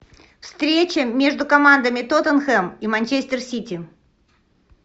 встреча между командами тоттенхэм и манчестер сити